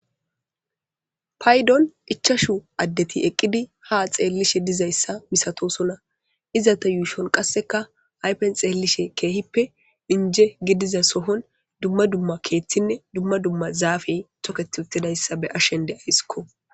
Paydoni ichchashu addeti haa xeelishe eqqidi dizaysa misatoosona. Izeta yuushon qasseka ayfen xeelushin keehippe inje gidiza sohon,dumma dumma keethinne dumma dumma zaafey toketi uttidaysa be'ashe de'aysiko.